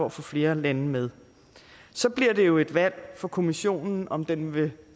at få flere lande med så bliver det jo et valg for kommissionen om den vil